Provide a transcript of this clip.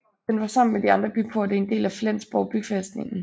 Den var sammen med de andre byporte en del af Flensborg bybefæstning